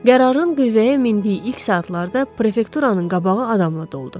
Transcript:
Qərarın qüvvəyə mindiyi ilk saatlarda prefekturanın qabağı adamla doldu.